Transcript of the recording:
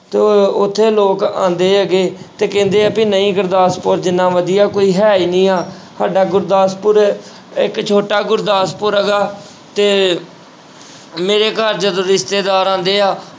ਤੇ ਉੱਥੇ ਲੋਕ ਆਉਂਦੇ ਹੈਗੇ ਤੇ ਕਹਿੰਦੇ ਆ ਵੀ ਨਹੀਂ ਗੁਰਦਾਸਪੁਰ ਜਿੰਨਾ ਵਧੀਆ ਕੋਈ ਹੈ ਹੀ ਨੀ ਆਂ ਸਾਡਾ ਗੁਰਦਾਸਪੁਰ ਇੱਕ ਛੋਟਾ ਗੁਰਦਾਸਪੁਰ ਹੈਗਾ ਤੇ ਮੇਰੇ ਘਰ ਜਦੋਂ ਰਿਸ਼ਤੇਦਾਰ ਆਉਂਦੇ ਆ,